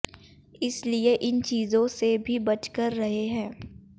इसलिए इन चीजों से भी बच कर रहें है